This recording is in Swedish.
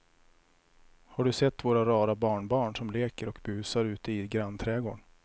Har du sett våra rara barnbarn som leker och busar ute i grannträdgården!